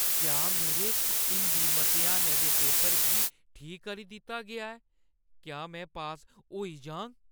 क्या मेरे हिंदी मतेहानै दे पेपर गी ठीक करी दित्ता गेआ ऐ? क्या में पास होई जाह्‌ङ?